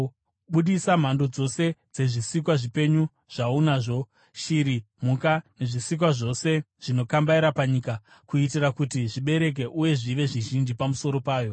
Budisa mhando dzose dzezvisikwa zvipenyu zvaunazvo, shiri, mhuka nezvisikwa zvose zvinokambaira panyika, kuitira kuti zvibereke uye zvive zvizhinji pamusoro payo.”